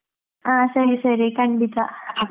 ಹಾ ಸರಿ ಸರಿ ಕಂಡಿತಾ.